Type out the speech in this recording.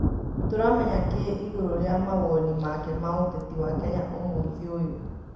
Tũramenya kĩ igũru rĩa mawoni make ma uteti wa Kenya ũmũthĩ ũyũ